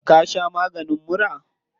Ka sha maganin mura?